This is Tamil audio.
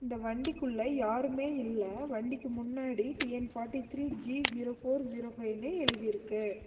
இந்த வண்டிக்குள்ள யாருமே இல்ல வண்டிக்கு முன்னாடி T N forty three G zero four zero ஃபைவ்னு எழுதிருக்கு.